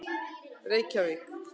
Reykjavík